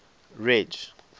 ridge